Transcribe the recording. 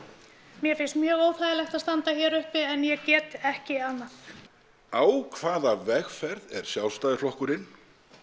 mér finnst mjög óþægilegt að standa hér uppi en ég get ekki annað á hvaða vegferð er Sjálfstæðisflokkurinn